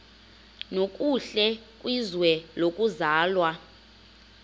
nokuhle kwizwe lokuzalwa